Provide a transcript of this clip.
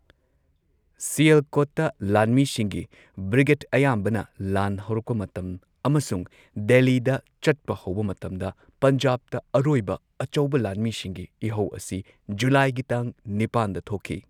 ꯁꯤꯌꯜꯀꯣꯠꯇ ꯂꯥꯟꯃꯤꯁꯤꯡꯒꯤ ꯕ꯭ꯔꯤꯒꯦꯠ ꯑꯌꯥꯝꯕꯅ ꯂꯥꯟ ꯍꯧꯔꯛꯄ ꯃꯇꯝ ꯑꯃꯁꯨꯡ ꯗꯦꯜꯂꯤꯗ ꯆꯠꯄ ꯍꯧꯕ ꯃꯇꯝꯗ ꯄꯟꯖꯥꯕꯇ ꯑꯔꯣꯏꯕ ꯑꯆꯧꯕ ꯂꯥꯟꯃꯤꯁꯤꯡꯒꯤ ꯏꯍꯧ ꯑꯁꯤ ꯖꯨꯂꯥꯏꯒꯤ ꯇꯥꯡ ꯅꯤꯄꯥꯟꯗ ꯊꯣꯛꯈꯤ꯫